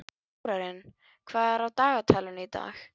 Þórarinn, hvað er á dagatalinu í dag?